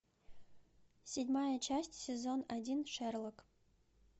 седьмая часть сезон один шерлок